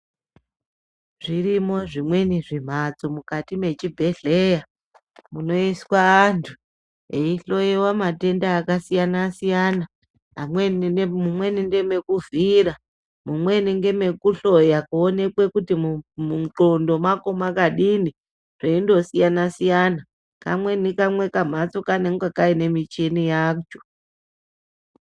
Zvirimo zvimweni zvimbatso mukati muchibhehleya munoiswa antu eyi hloyiwa matenda akasiyana siyana amweni mumweni ndomekuvhiyira mumweni ndeme kuhloya kuoneka kuti mukati mwe ndxondo mako makadini zveyi ndosiya siyana kamweni kumhatso kange kaine muchini wacho.